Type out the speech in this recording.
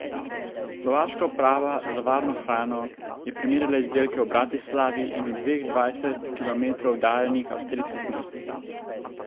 Slovaška uprava za varno hrano je primerjala izdelke v Bratislavi in v dveh, dvajset kilometrov oddaljenih, avstrijskih mestih.